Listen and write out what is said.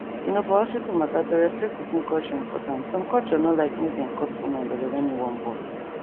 you know for hospital matter to respect person culture importantsome culture no like make dem cut woman belle wen e wan born